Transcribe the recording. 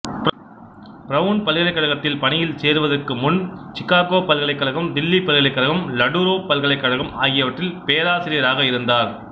brown பல்கலைக்கழகத்தில் பணியில் சேருவதற்கு முன் சிகாகோ பல்கலைக்கழகம் தில்லி பல்கலைக்கழகம் ல டுரோப் பல்கலைக்கழகம் ஆகியவற்றில் பேராசிரியராக இருந்தார்